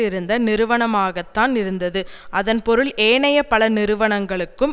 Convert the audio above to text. இருந்த நிறுவனமாகத்தான் இருந்தது அதன் பொருள் ஏனைய பல நிறுவனங்களுக்கும்